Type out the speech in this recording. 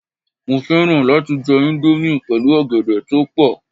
Mo fẹ́ràn láti jẹ índómì pẹ̀lú ọ̀gẹ̀dẹ̀ toepo